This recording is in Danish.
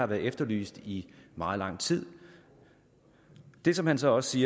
blevet efterlyst i meget lang tid det som han så også